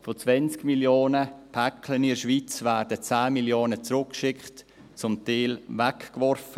Von 20 Mio. Paketen in der Schweiz werden 10 Mio. zurückgeschickt, zum Teil die Ware weggeworfen.